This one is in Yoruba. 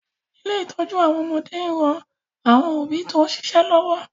Ilé ìtọ́jú àwọn ọmọdé ń ran àwọn òbí tó ń ṣíṣe lọ́wọ́